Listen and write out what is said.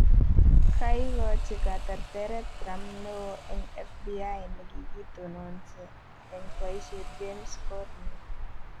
ka igachi katerteret trump newoo en FBI negigitononsi en poisiet James Corney